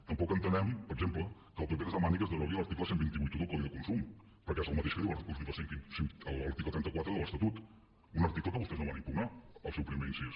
tampoc entenem per exemple que el pp ens demani que es derogui l’article dotze vuitanta u del codi de consum perquè és el mateix que diu l’article trenta quatre de l’estatut un article que vostès no van impugnar el seu primer incís